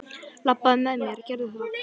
Labbaðu með mér, gerðu það!